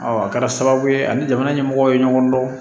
a kɛra sababu ye ani jamana ɲɛmɔgɔw ye ɲɔgɔn dɔn